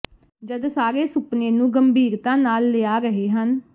ਜਦ ਸਾਰੇ ਸੁਪਨੇ ਨੂੰ ਗੰਭੀਰਤਾ ਨਾਲ ਲਿਆ ਰਹੇ ਹਨ